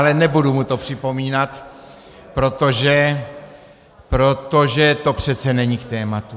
Ale nebudu mu to připomínat, protože to přece není k tématu.